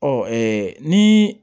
Ɔ ni